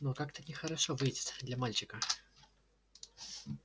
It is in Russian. но как-то нехорошо выйдет для мальчика